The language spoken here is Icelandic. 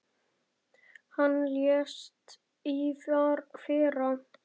Hann lést í fyrra.